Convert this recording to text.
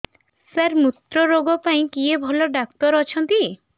ସାର ମୁତ୍ରରୋଗ ପାଇଁ କିଏ ଭଲ ଡକ୍ଟର ଅଛନ୍ତି